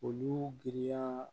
Olu giriya